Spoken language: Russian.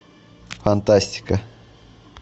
фантастика